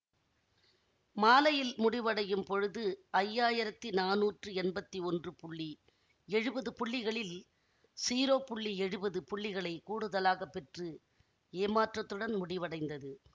மாலையில் முடிவடையும் பொழுது ஐயாயிரத்தி நானூற்றி எம்பத்தி ஒன்று புள்ளி எழுவது புள்ளிகளில் ஸிரோ புள்ளி எழுவது புள்ளிகளைக் கூடுதலாக பெற்று ஏற்றத்துடன் முடிவடைந்தது